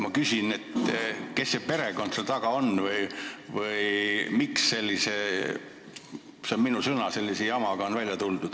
Ma küsin, kes see perekond seal taga on või miks sellise – see on minu sõna – jamaga on välja tuldud.